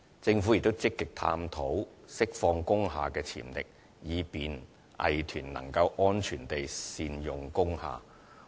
政府亦積極探討釋放工廈的潛力，以便藝團能安全地善用工廈。